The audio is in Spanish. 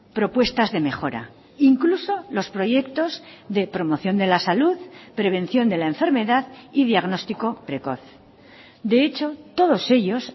propuestas de mejora incluso los proyectos de promoción de la salud prevención de la enfermedad y diagnóstico precoz de hecho todos ellos